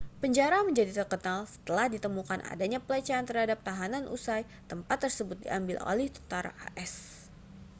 penjara menjadi terkenal setelah ditemukan adanya pelecehan terhadap tahanan usai tempat tersebut diambil alih tentara as